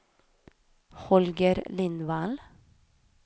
Holger Lindvall